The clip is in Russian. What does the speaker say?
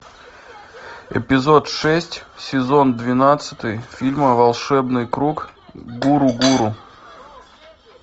эпизод шесть сезон двенадцатый фильма волшебный круг гуру гуру